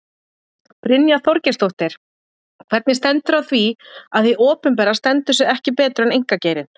Brynja Þorgeirsdóttir: Hvernig stendur á því að hið opinbera stendur sig ekki betur en einkageirinn?